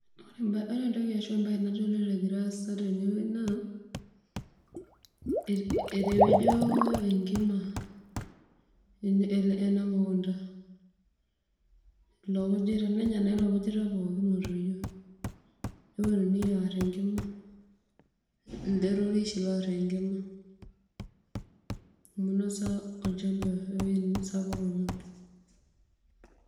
Ore entoki nagira aasa tene naa ,etepejo enkima enamukunda ilo kujita nejo na neponunui aar enkima, enjorore oshi naar enkima amu inasa enkima ewuei sapuk oleng.